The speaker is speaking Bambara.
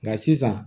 Nka sisan